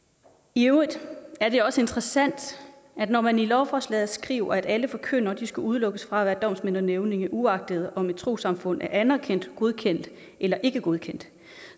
i øvrigt er det også interessant når man i lovforslaget skriver at alle forkyndere skal udelukkes fra at være domsmænd og nævninge uagtet om et trossamfund er anerkendt godkendt eller ikke godkendt